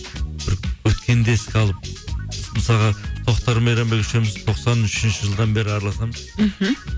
бір өткенді еске алып мысалға тоқтар мен мейрамбек үшеуіміз тоқсан үшінші жылдан бері араласамыз мхм